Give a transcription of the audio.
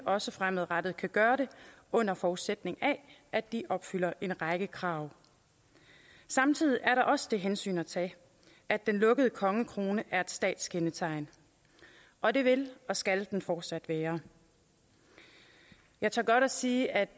også fremadrettet kan gøre det under forudsætning af at de opfylder en række krav samtidig er der også det hensyn at tage at den lukkede kongekrone er et statskendetegn og det vil og skal den fortsat være jeg tør godt sige at